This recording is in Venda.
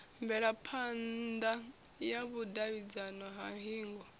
mvelaphana ya vhudavhidzano ha hingo